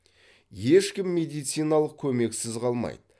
ешкім медициналық көмексіз қалмайды